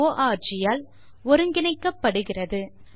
தமிழில் நிரலாக்கம் கடலூர் திவா குரல் கொடுத்து பதிவு செய்தது